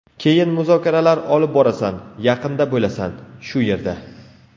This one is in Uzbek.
Keyin muzokaralar olib borasan, yaqinda bo‘lasan, shu yerda”.